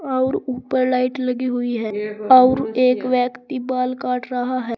और ऊपर लाइट लगी हुई है और एक व्यक्ति बाल काट रहा है।